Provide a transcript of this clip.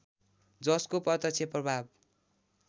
जसको प्रत्यक्ष प्रभाव